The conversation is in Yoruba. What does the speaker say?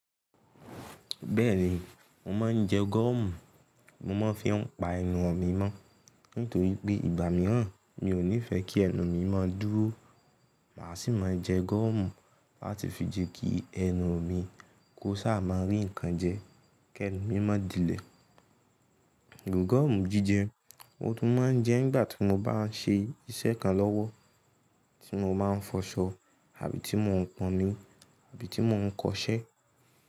Bẹ́ẹ̀ni, mo ma ń jẹ gọ́ọ̀mù, mo máa fi n pa ẹnu u mi mọ́. Nítorí pé ìgbà mìíràn mi ò nífẹẹ kí ẹnu mi máa dúró, màá sì máa jẹ gọ́ọ̀mù láti fi jẹ kí ẹnu mi kó sáa máa rí nǹkan jẹ, kí ẹnu mi má dilẹ̀. Gọ́ọ̀mù jíjẹ mo tún máa ń jẹ nígbà tí mo bá ń ṣe iṣẹ́ kan lọ́wọ́, tí mo máa ń fọṣọ àbí tí mo ń pọn mi, àbí tí mo ń kọ iṣẹ́.